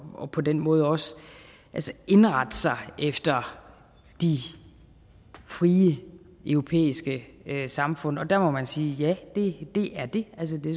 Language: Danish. og på den måde også indrette sig efter de frie europæiske samfund og der må man sige ja det er det altså det